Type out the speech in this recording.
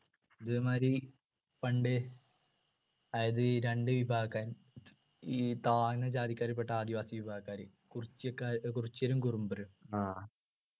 അതേമാതിരി പണ്ട് അതായത് ഈ രണ്ട് വിഭാഗക്കാര് ഈ താഴ്ന്ന ജാതിക്കാരിൽ പെട്ട ആദിവാസി വിഭാഗക്കാര് കുറിച്യക്കാർ കുറിച്യരും കുറുമ്പറും